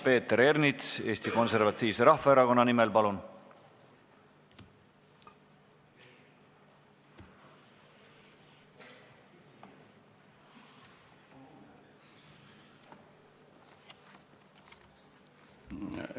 Peeter Ernits Eesti Konservatiivse Rahvaerakonna nimel, palun!